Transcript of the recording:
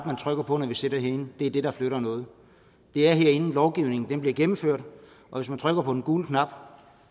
man trykker på når vi sidder herinde det er det der flytter noget det er herinde lovgivningen bliver gennemført og hvis man trykker på den gule knap